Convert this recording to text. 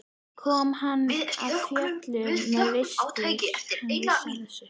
Kom hann af fjöllum eða virtist hann vita af þessu?